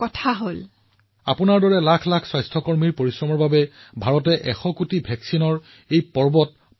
আজি মই কেৱল আপোনালোকৰ প্ৰতি কৃতজ্ঞতা প্ৰকাশ কৰাই নহয় সকলোকে প্ৰতিষেধকবিনামূলীয়া প্ৰতিষেধক অভিযানত সফলতা প্ৰদান কৰা সকলোৰে প্ৰতিও কৃতজ্ঞতা জ্ঞাপন কৰিছো